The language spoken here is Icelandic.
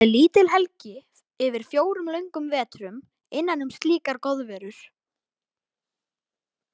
Það er lítil helgi yfir fjórum löngum vetrum innan um slíkar goðverur.